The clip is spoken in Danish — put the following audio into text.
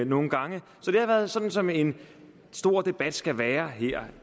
nogle gange så det har været sådan som en stor debat skal være her